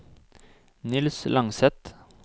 Niels Langseth